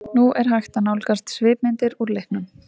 Nú er hægt að nálgast svipmyndir úr leiknum.